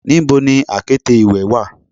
Nibo ni akete iwe wa